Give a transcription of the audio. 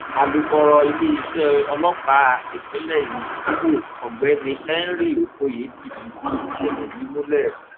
alūkọrọ iléeṣẹ ọlọpàá ìpínlẹ ìmọ ọgbẹni henry okoye ti fìdí ìṣẹlẹ yìí múlẹ